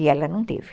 E ela não teve.